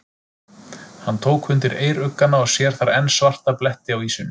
Hann tók undir eyruggana og sér þar enn svarta bletti á ýsunni.